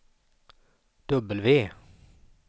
W